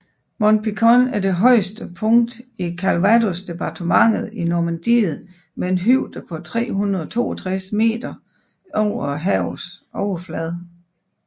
Mont Pinçon er det højeste punkt i Calvados departementet i Normandiet med en højde på 362 meter over havets overflade